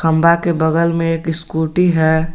खंभा के बगल में एक स्कूटी है।